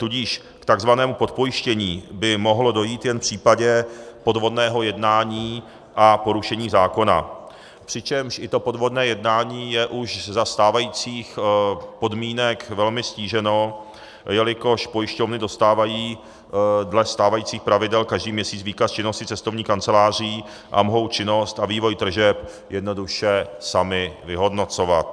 Tudíž k tzv. podpojištění by mohlo dojít jen v případě podvodného jednání a porušení zákona, přičemž i to podvodné jednání je už za stávajících podmínek velmi ztíženo, jelikož pojišťovny dostávají dle stávajících pravidel každý měsíc výkaz činnosti cestovních kanceláří a mohou činnost a vývoj tržeb jednoduše sami vyhodnocovat.